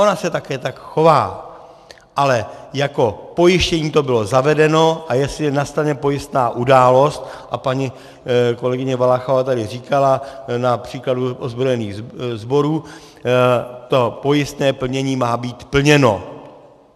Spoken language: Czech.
Ona se také tak chová, ale jako pojištění to bylo zavedeno, a jestli nastane pojistná událost, a paní kolegyně Valachová tady říkala na příkladu ozbrojených sborů, to pojistné plnění má být plněno.